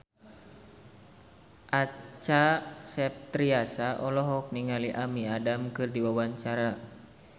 Acha Septriasa olohok ningali Amy Adams keur diwawancara